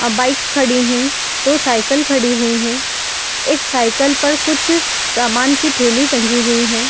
आ bikes खड़े है दो साइकिल खड़ी हुई है एक साइकिल पर कुछ सामान की थैली ठगी हुई है ।